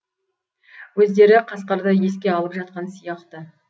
өздері қасқырды еске алып жатқан сияқты